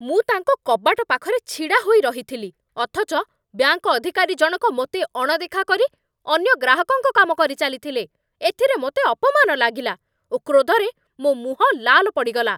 ମୁଁ ତାଙ୍କ କବାଟ ପାଖରେ ଛିଡ଼ାହୋଇରହିଥିଲି, ଅଥଚ ବ୍ୟାଙ୍କ ଅଧିକାରୀ ଜଣକ ମୋତେ ଅଣଦେଖା କରି ଅନ୍ୟ ଗ୍ରାହକଙ୍କ କାମ କରିଚାଲିଥିଲେ, ଏଥିରେ ମୋତେ ଅପମାନ ଲାଗିଲା ଓ କ୍ରୋଧରେ ମୋ ମୁହଁ ଲାଲ ପଡ଼ିଗଲା।